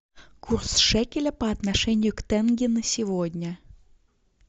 курс шекеля по отношению к тенге на сегодня